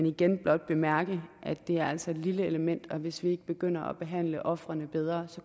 igen blot bemærke at det altså er et lille element og hvis vi ikke begynder at behandle ofrene bedre